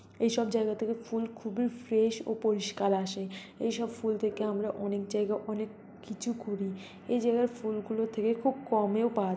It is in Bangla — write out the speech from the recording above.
এইসব জায়গা থেকে ফুল খুবই ফ্রেশ -ও পরিষ্কার আশে এইসব ফুল থেকে আমরা অনেক জায়গায় অনেক কিছু করি এই জায়গার ফুল গুলো থেকে খুব কমেও পা--